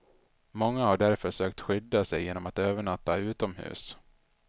Många har därför sökt skydda sig genom att övernatta utomhus.